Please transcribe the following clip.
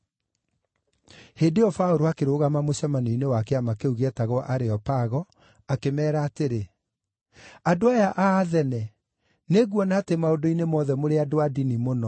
Hĩndĩ ĩyo Paũlũ akĩrũgama mũcemanio-inĩ wa kĩama kĩu gĩetagwo Areopago akĩmeera atĩrĩ: “Andũ aya a Athene, nĩnguona atĩ maũndũ-inĩ mothe mũrĩ andũ a ndini mũno.